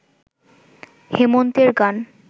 হেমন্তের গান